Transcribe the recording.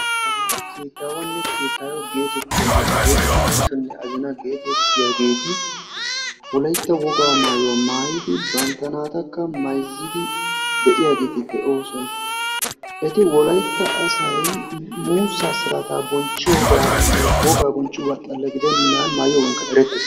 Hageeti machonne azina geetettiyaageti woykko keettatonne keettawa geetettiyaageti wolaytta wogaa maayuwaa maayidi bantta naatakka maayizidi de'iyaageti de'oosona. eti wolaytta asay muussaa siraataa bonchchiyooganinne wogaa bonchchiyooga xala gidennan maayiyoogankka erettees.